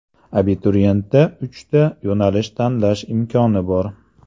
Abituriyentda uchta yo‘nalishni tanlash imkoni bor.